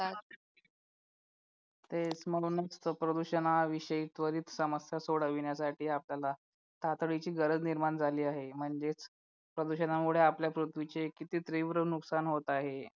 तेच म्हणूनच तर प्रदूषणाविषयी त्वरित समस्या सोडविण्यासाठी आपल्याला तातडीची गरज निर्माण झाली आहे म्हणजेच प्रदूषणामुळे आपल्या पृथ्वीचे किती तीव्र नुकसान होत आहे